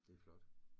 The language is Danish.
Det flot